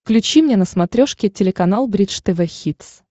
включи мне на смотрешке телеканал бридж тв хитс